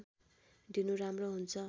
दिनु राम्रो हुन्छ